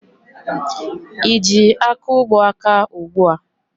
Ị ji akaụgbọ aka ugbua?